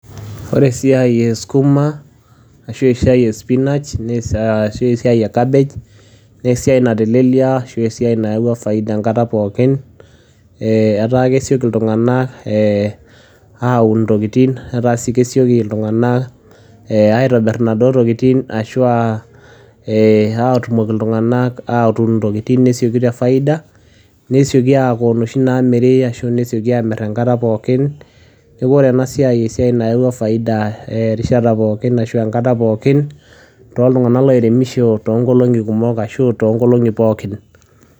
The work os sukuma wiki or the work of spinach or the work of cabbage is the work that has been easy or bring profit at all times eh people get easy to plant things or eh people get things easy and so they sell at all times so this work has brought profit at all times to people who plant for many days or all times